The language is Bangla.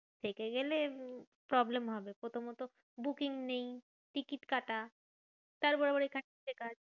থেকে গেলে উম problem হবে। প্রথমত booking নেই, টিকিট কাটা, তারপরে আবার এখানে checker.